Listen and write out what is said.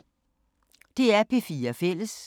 DR P4 Fælles